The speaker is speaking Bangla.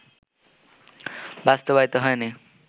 বাস্তবায়িত হয়নি